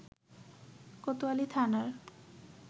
কোতয়ালী থানার